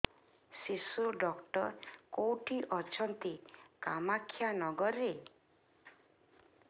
ଶିଶୁ ଡକ୍ଟର କୋଉଠି ଅଛନ୍ତି କାମାକ୍ଷାନଗରରେ